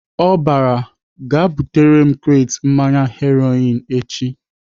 Ọ bara "Gaa butere m kret mmanya Heroin echi!"